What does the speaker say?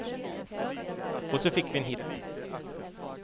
Och så fick vi en hit.